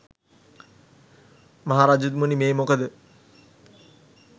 මහරජතුමනි මේ මොකද